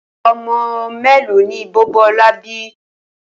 O̩mo̩ mélòó ni Bò̩bó̩lá bi?